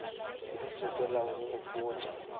le se ke la nkgopotša